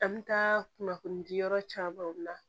An bɛ taa kunnafoni di yɔrɔ camanw na